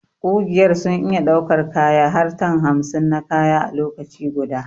Ƙugiyar sun iya daukar kaya har tan hamsin na kaya a lokaci guda.